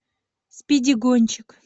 спиди гонщик